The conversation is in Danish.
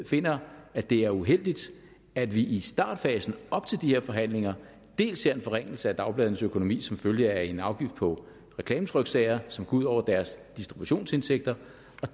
finder at det er uheldigt at vi i startfasen op til de her forhandlinger dels ser en forringelse af dagbladenes økonomi som følge af en afgift på reklametryksager som går ud over deres distributionsindtægter